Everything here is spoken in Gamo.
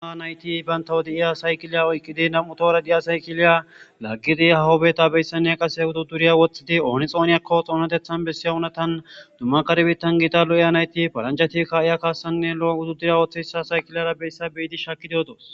Ha nayti bayntawodi7iya saykiliya oyqqidi nam7utora di7a saykiliya laggidi hahobeta beyssanne qase udu duriya woththidi ooni xooniyakko xoonatethan bessiy unatan dumma karbitan gita lo7iya nayti faranjati ka iya kaassanne lo7o hudu duriya wooththa hissa saykilara beyssa beyidi shakidiodos.